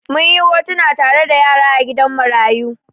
Mun yi hotuna tare da yara a gidan marayu.